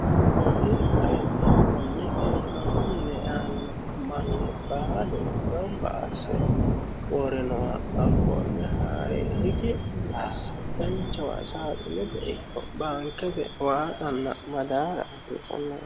konne garinni konne magano mine aanno manni baalu gamba asse woore nooha hakkonne haare riki'mi asse danchawa saai lebbe ikko baanke maaxanna madaara hoseessanne